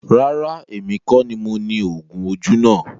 Rárá, èmi kọ ní mo ni oògùn ojú náà